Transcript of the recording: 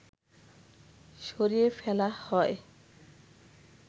সরিয়ে ফেলা হয়